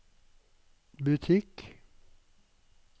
butikk